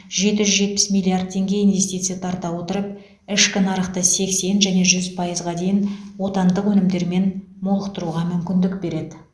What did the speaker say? жеті жүз жетпіс миллиард теңге инвестиция тарта отырып ішкі нарықты сексен және жүз пайызға дейін отандық өнімдермен молықтыруға мүмкіндік береді